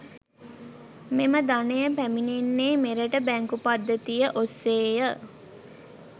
මෙම ධනය පැමිණෙන්නේ මෙරට බැංකු පද්ධතිය ඔස්සේය.